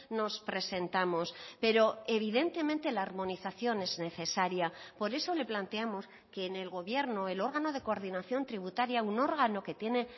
nos presentamos pero evidentemente la armonización es necesaria por eso le planteamos que en el gobierno el órgano de coordinación tributaria un órgano que tiene